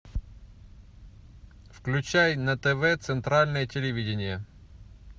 включай на тв центральное телевидение